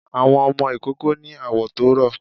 Àwọn ọmọ ìkoko ni awọ̀ tó rọ